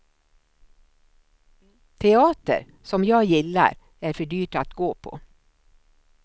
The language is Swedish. Teater, som jag gillar, är för dyrt att gå på.